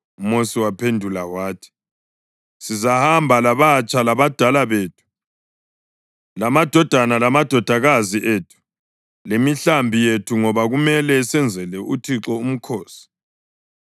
UMosi waphendula wathi, “Sizahamba labatsha labadala bethu; lamadodana lamadodakazi ethu, lemihlambi yethu ngoba kumele senzele uThixo umkhosi.”